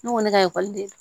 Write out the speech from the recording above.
Ne ko ne ka ekɔliden